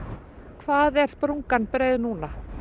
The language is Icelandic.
hvað er sprungan breið núna